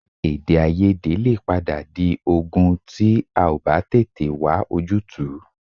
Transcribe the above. Èdèàìyedè lè padà di ogun tí a ò bá tètè wá ojútùú